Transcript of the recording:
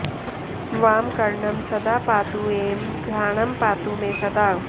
वामकर्णं सदा पातु ऐं घ्राणं पातु मे सदा